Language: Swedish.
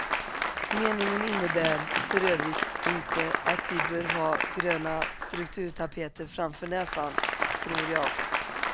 Meningen innebär för övrigt inte att vi bör ha gröna strukturtapeter framför näsan, tror jag.